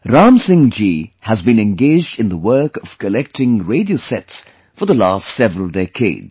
Ram Singh ji has been engaged in the work of collecting radio sets for the last several decades